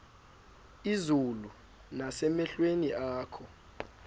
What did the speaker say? izulu nasemehlweni akho